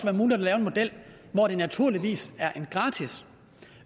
muligt at lave en model hvor det naturligvis